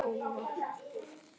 Hvar á ég að búa?